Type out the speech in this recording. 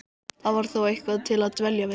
Það var þá eitthvað til að dvelja við.